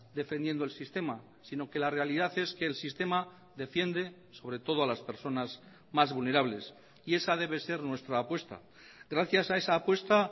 defendiendo el sistema sino que la realidad es que el sistema defiende sobre todo a las personas más vulnerables y esa debe ser nuestra apuesta gracias a esa apuesta